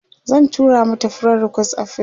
zan tura mata friend request a Facebook